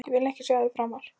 Ég vil ekki sjá þig framar!